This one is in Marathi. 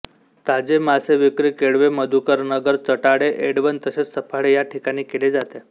ताजे मासेविक्री केळवे मधुकरनगर चटाळे एडवण तसेच सफाळे ह्या ठिकाणी केली जाते